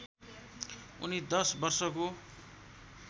उनी दश वर्षको